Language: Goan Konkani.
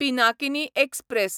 पिनाकिनी एक्सप्रॅस